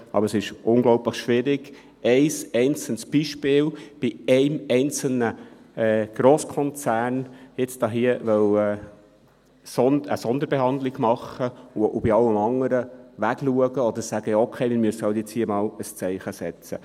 Aber es ist unglaublich schwierig, bei einem einzelnen Beispiel bei einem einzelnen Grosskonzern jetzt hier eine Sonderbehandlung machen zu wollen, und bei allem anderen wegzuschauen, oder zu sagen: «Okay, wir müssen jetzt hier eben einmal ein Zeichen setzen.